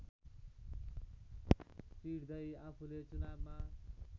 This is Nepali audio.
चिर्दै आफूले चुनावमा